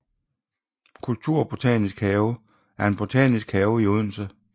Kulturbotanisk Have er en botanisk have i Odense